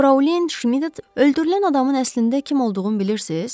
Fraulein Şmit, öldürülən adamın əslində kim olduğunu bilirsiz?